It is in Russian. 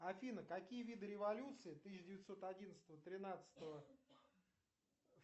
афина какие виды революций тысяча девятьсот одиннадцатого тринадцатого